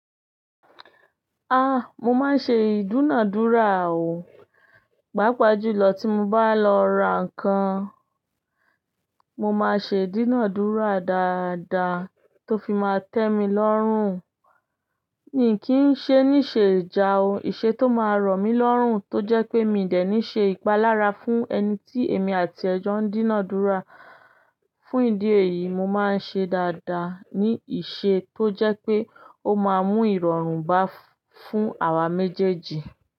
Mo máa ń ṣe ìdúnàádúrà o. Páapáa jùlọ tí mo bá lọ ra nǹkan, mo máa ṣe ìdúnàádúrà dáadáa tó fi máa tẹ́ mi lọ́rùn. Mì kí n ṣe ní iṣe ìjà o, ìṣe tó máa rọ̀ mí lọ́rùn tó jẹ́ pé mi i dẹ́ni ṣe ìpalára fún ẹni tí èmi àti ẹ jọ ń dínàádúrà. Fún ìdí èyí, mo máa ń ṣe dáadáa ní ìṣe tó jẹ́ pé ó máa mú ìrọ̀rùn bá fún àwa méjèèjì.